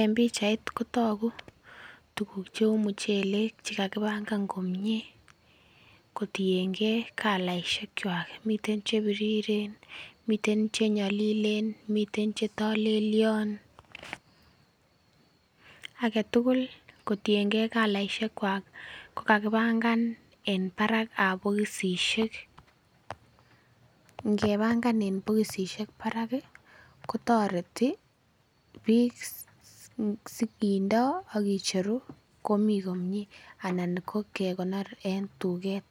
En pichait kotogu tuguk cheu muchelek chekakibangan komie kotiengei calaisiek kwak, miten chebiriren miten chenyolilen miten chetokelyon aketugul kotiengee calaisiek kwak kokakibangan en barak ab bokosisiek, ngebangan en bokosisiek barak ih kotoreti biik si kindoo ak kicheru komii komie anan ko kekonor en tuket